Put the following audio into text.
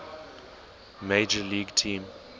major league team